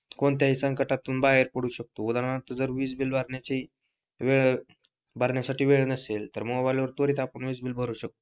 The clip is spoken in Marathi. कोणत्याही संकटातून बाहेर पडू शकतो उदाहरणार्थ वीज बिल भरण्याची वेळ साठी वेळ नसेल तर मोबाइल वर त्वरित आपण वीज बिल भरतो शकतो.